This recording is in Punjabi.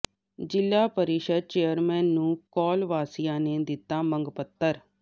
ਜ਼ਿਲ੍ਹਾ ਪ੍ਰੀਸ਼ਦ ਚੇਅਰਮੈਨ ਨੂੰ ਕੌਲ ਵਾਸੀਆਂ ਨੇ ਦਿੱਤਾ ਮੰਗ ਪੱਤਰ